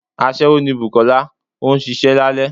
aṣẹwo ní bùkolá, o n sìsé lálẹ